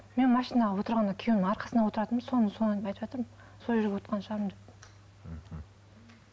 мен машинаға отырғанда күйеуімнің арқасына отыратынмын соны соны айтыватырмын сол жерге отырған шығармын деп мхм